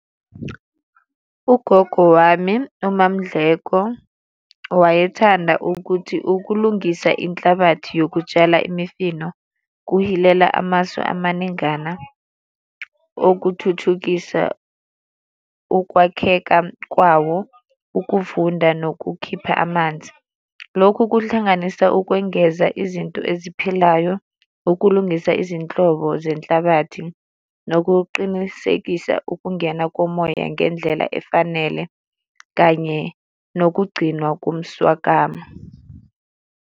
Ugogo wami uMaMndleko, wayethanda ukuthi ukulungisa inhlabathi yokutshala imifino kuhilela amasu amaningana okuthuthukisa ukwakheka kwawo, ukuvunda nokukhipha amanzi. Lokhu kuhlanganisa ukwengeza izinto eziphilayo, ukulungisa izinhlobo zenhlabathi nokuqinisekisa ukungena komoya ngendlela efanele kanye nokugcinwa kumswakama.